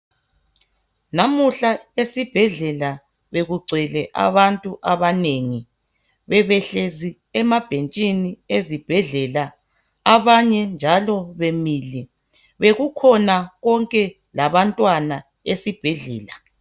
Namuhla esibhedlela bekugcwele abantu abanengi. Bebehlezi emabhentshini ezibhedlela abanye njalo bemile. Bekukhona konke labantwana esibhedlela.